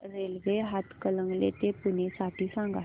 railway Hatkanangale ते पुणे साठी सांगा